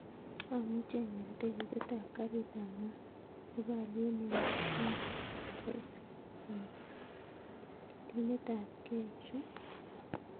Amuchi anyor tiketit ap karit ap maat nepo aliet nemi ne raisi en ketinet ap kee chu